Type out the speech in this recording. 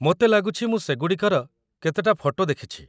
ମୋତେ ଲାଗୁଛି ମୁଁ ସେଗୁଡ଼ିକର କେତେଟା ଫଟୋ ଦେଖିଛି ।